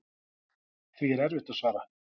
Því er erfitt að svara.